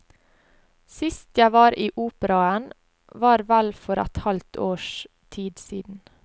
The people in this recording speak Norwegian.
Sist jeg var i operaen var vel for et halvt års tid siden.